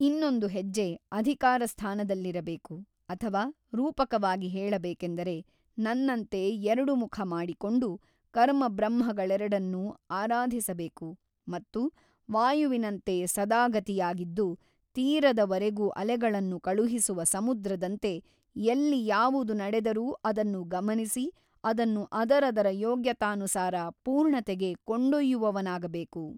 ಇನ್ನೊಂದು ಹೆಜ್ಜೆ ಅಧಿಕಾರ ಸ್ಥಾನದಲ್ಲಿರಬೇಕು ಅಥವ ರೂಪಕವಾಗಿ ಹೇಳಬೇಕೆಂದರೆ ನನ್ನಂತೆ ಎರಡು ಮುಖ ಮಾಡಿಕೊಂಡು ಕರ್ಮಬ್ರಹ್ಮಗಳೆರಡನ್ನೂ ಆರಾಧಿಸಬೇಕು ಮತ್ತು ವಾಯುವಿನಂತೆ ಸದಾಗತಿಯಾಗಿದ್ದು ತೀರದವರೆಗೂ ಅಲೆಗಳನ್ನು ಕಳುಹಿಸುವ ಸಮುದ್ರದಂತೆ ಎಲ್ಲಿ ಯಾವುದು ನಡೆದರೂ ಅದನ್ನು ಗಮನಿಸಿ ಅದನ್ನು ಅದರದರ ಯೋಗ್ಯತಾನುಸಾರ ಪೂರ್ಣತೆಗೆ ಕೊಂಡೊಯ್ಯುವವನಾಗಬೇಕು.